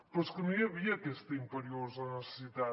però és que no hi havia aquesta imperiosa necessitat